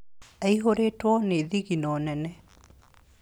Aihũrĩtwo nĩ thigino nene..